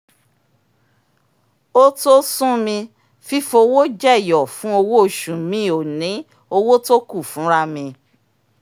ó to sún mí fífowó jẹ̀yọ̀ fún owó oṣù mi ò ní owó tó kù fúnra mi